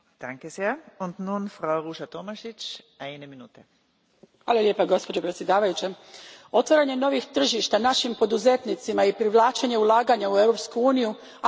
Gospođo predsjedavajuća, otvaranje novih tržišta našim poduzetnicima i privlačenje ulaganja u Europsku uniju apsolutno je poželjno i u tu svrhu moramo mobilizirati sve svoje kapacitete.